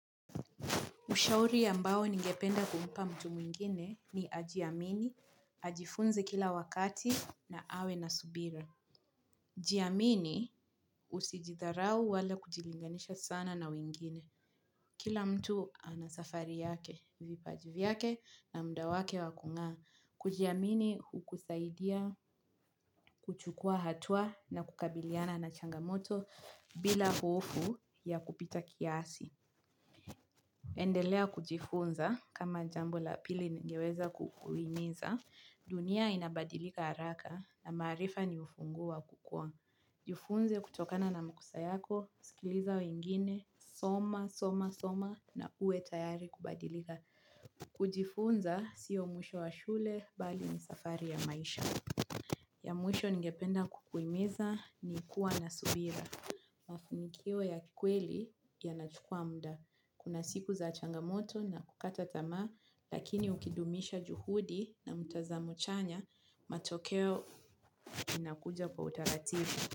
Ushauri ambao ningependa kumpa mtu mwingine ni ajiamini, ajifunzi kila wakati na awe na subira. Jiamini usijidharau wala kujilinganisha sana na mwingine. Kila mtu anasafari yake, vipajivyake na mda wake wakunga. Kujiamini hukusaidia kuchukua hatua na kukabiliana na changamoto bila hofu ya kupita kiasi. Endelea kujifunza kama jambo la pili ningeweza kukuhimiza dunia inabadilika haraka na marifa ni ufungua kukua Jifunze kutokana na makosa yako, sikiliza wengine, soma, soma, soma na uwe tayari kubadilika kujifunza siyo mwisho wa shule bali ni safari ya maisha ya mwisho nigependa kukuimiza ni kuwa na subira Mafanikio ya kikweli ya nachukua muda. Kuna siku za changamoto na kukata tamaa, lakini ukidumisha juhudi na mutazamuchanya, matokeo inakuja kwa utaratibu.